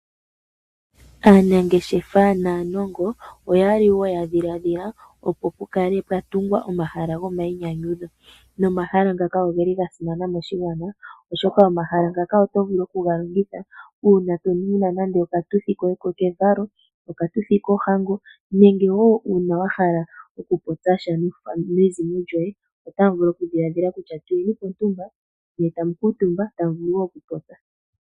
Aanangeshefa naanongo oya li wo ya dhiladhila, opo pu kale pwa tungwa omahala gomainyanyudho nomahala ngaka ogeli ga simana moshigwana oshoka omahala ngaka oto vulu oku ga longitha uuna wuna nande oshituthi koye kevalo, oshituthi kohango nenge wo wuna wahala oku popya sha naakwanezimo yoye, otamu vulu okudhiladhila kutya tuye ni pontumba ne tamu kuutumba ta mu vulu wo okupopya.